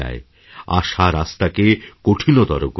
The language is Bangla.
আশা রাস্তাকে কঠিনতর করে তোলে